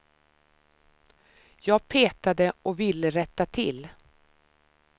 Jag petade och ville rätta till.